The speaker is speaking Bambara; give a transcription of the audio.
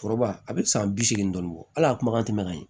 Foroba a bɛ san bi seegin dɔɔni bɔ hali a kuma ka tɛmɛ